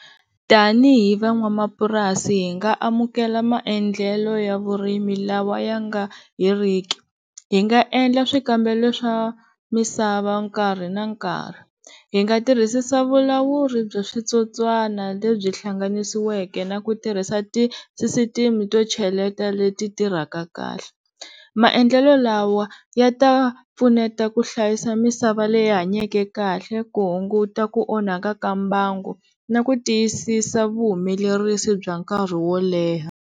Tanihi van'wamapurasi hi nga amukela maendlelo ya vurimi lawa ya nga heriki hi nga endla swikambelo swa misava nkarhi na nkarhi, hi nga tirhisisa vulawuri bya switsotswana lebyi hlanganisiweke na ku tirhisa ti sisitimi to cheleta le ti tirhaka kahle, maendlelo lawa ya ta pfuneta ku hlayisa misava leyi hanyeke kahle ku hunguta ku onhaka ka mbango na ku tiyisisa vuhumelerisi bya nkarhi wo leha.